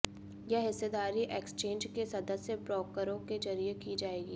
यह हिस्सेदारी एक्सचेंज के सदस्य ब्रोकरों के जरिए की जाएगी